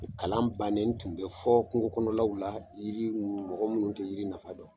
Kalan bannen , n tun bɛ fɔ kungo kɔnɔnaw la, yiri ninnu mɔgɔ minnu tɛ yiri nafa dɔn.